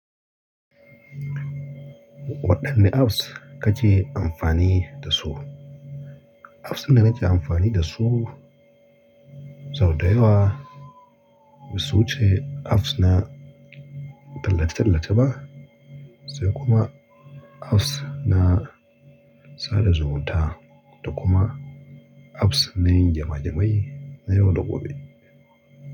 Waɗanne apps kake amfani da su? Apps ɗin da nake amfani da su sau da yawa, basu wuce apps na tallace-tallace ba, sai kuma apps na sada zumunta da kuma apps na yin gema gema'i na yau da gobe.